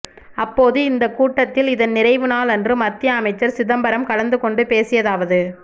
அப்போது இந்த கூட்டத்தில் இதன் நிறைவு நாள் அன்று மத்திய அமைச்சர் சிதம்பரம் கலந்து கொண்டு பேசியதாவது